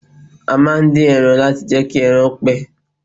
A máà ń din ẹran láti jẹ́ kí ẹran pẹ́.